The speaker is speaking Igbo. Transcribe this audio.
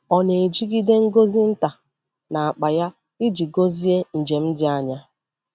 Ọ nà-ejigide ngọzị nta n’akpa ya iji gọzie njem dị anya.